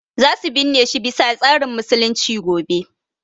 Za su binne shi bi sa tsarin musulunci gobe